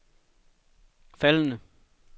faldende